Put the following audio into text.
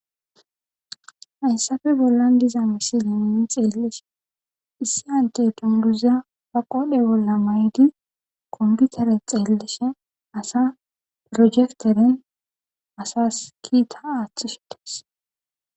hayssafe bollan diza misiliminin xeellishe issi hante tunduza ba qoodhe bolla maydi komputere xeellishe asa projekteren asas kiita aaththusites